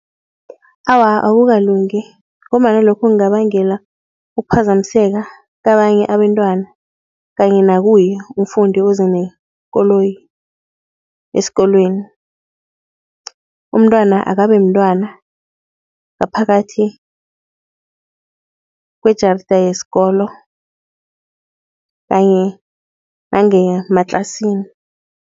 Awa, akukalungi ngombana lokho kungabangela ukuphazamiseka kabanye abantwana kanye nakuye umfundi oze nekoloyi esikolweni. Umntwana akabe mntwana ngaphakathi kwejarida yesikolo kanye nangemaklasini.